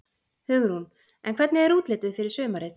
Hugrún: En hvernig er útlitið fyrir sumarið?